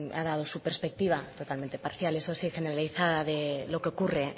ha dado su perspectiva totalmente parcial eso sí generalizada de lo que ocurre